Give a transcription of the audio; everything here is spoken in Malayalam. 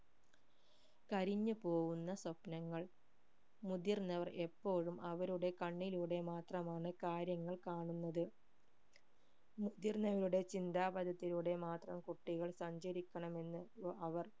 കരിഞ്ഞു പോകുന്ന സ്വപ്‌നങ്ങൾ മുതിർന്നവർ എപ്പോഴും അവരുടെ കണ്ണിലുടെ മാത്രമാണ് കാര്യങ്ങൾ കാണുന്നത് മുതിർന്നവരുടെ ചിന്താപതത്തിലൂടെ മാത്രം കുട്ടികൾ സഞ്ചരിക്കണം എന്ന് അവർ